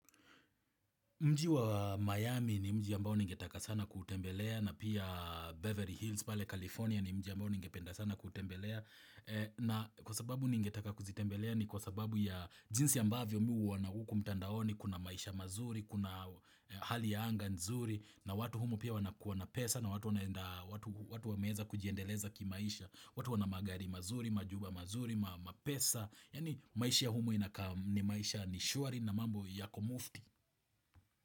Mji wa Miami ni mji ambao ningetaka sana kuutembelea na pia Beverly Hills pale California ni mji ambao ningependa sana kuutembelea na kwa sababu ningetaka kuzitembelea ni kwa sababu ya jinsi ambavyo mimi huona huku mtandaoni, kuna maisha mazuri, kuna hali ya anga nzuri na watu humo pia wanakuwa na pesa na watu wameeza kujiendeleza kimaisha, watu wana magari mazuri, majumba mazuri, mapesa, yaani maisha ya humo inakaa ni maisha nishwari na mambo yako mufti.